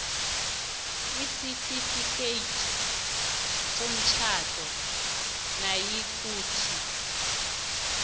isitifikhethi somtjhado nayikuthi